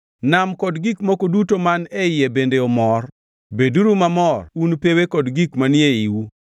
Nam kod gik moko duto man e iye bende omor, beduru mamor un pewe kod gik manie iwu.